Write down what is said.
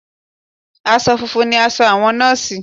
Aṣọ funfun ni aṣọ àwọn nọ́ọ̀sì